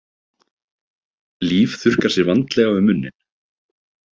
Líf þurrkar sér vandlega um munninn.